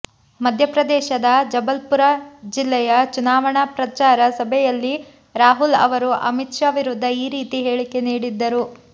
ಮಧ್ಯಪ್ರದೇಶದ ಜಬಲ್ಪುರ ಜಿಲ್ಲೆಯ ಚುನಾವಣಾ ಪ್ರಚಾರ ಸಭೆಯಲ್ಲಿ ರಾಹುಲ್ ಅವರು ಅಮಿತ್ ಶಾ ವಿರುದ್ಧ ಈ ರೀತಿ ಹೇಳಿಕೆ ನೀಡಿದ್ದರು